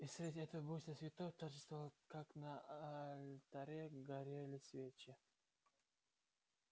и среди этого буйства цветов торжественно как на алтаре горели свечи